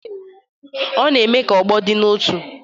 Ọ na-eme ka ọgbọ dị n'otu.